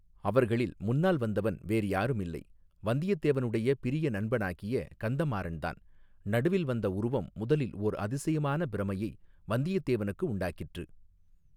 அவர்களில் முன்னால் வந்தவன் வேறு யாரும் இல்லை வந்தியத்தேவனுடைய பிரிய நண்பனாகிய கந்தமாறன்தான் நடுவில் வந்த உருவம் முதலில் ஓர் அதிசயமான பிரமையை வந்தியத்தேவனுக்கு உண்டாக்கிற்று.